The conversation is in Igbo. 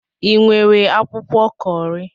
Ị nwere akwụkwọ Kọri?